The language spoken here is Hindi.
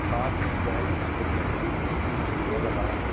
साथ ही वह खुश दिख रहे हैं किसी ने चश्मा लगाया है।